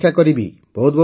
ମୁଁ ଅପେକ୍ଷା କରିବି